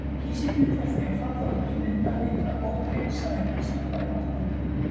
kísillinn fer því að falla út og mynda litla ógegnsæja kristalla í vatninu